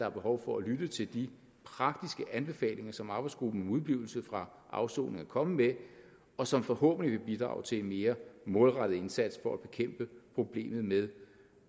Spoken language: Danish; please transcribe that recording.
er behov for at lytte til de praktiske anbefalinger som arbejdsgruppen om udeblivelse fra afsoning er kommet med og som forhåbentlig vil bidrage til en mere målrettet indsats for at bekæmpe problemet med